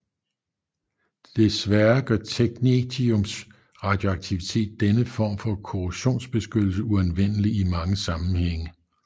Desværre gør technetiums radioaktivitet denne form for korrosionsbeskyttelse uanvendelig i mange sammenhænge